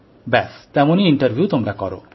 ব্যাস তেমনি ইন্টারভিউ তোমরা করো